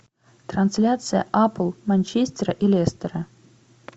трансляция апл манчестера и лестера